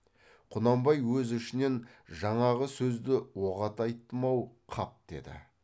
құнанбай өз ішінен жаңағы сөзді оғат айттым ау қап деді